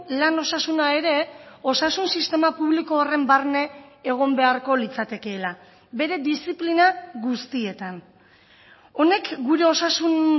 lan osasuna ere osasun sistema publiko horren barne egon beharko litzatekeela bere diziplina guztietan honek gure osasun